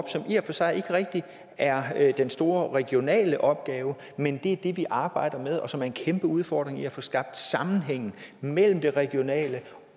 for sig ikke rigtig er den store regionale opgave men det er det vi arbejder med og som en kæmpe udfordring at få skabt sammenhæng mellem det regionale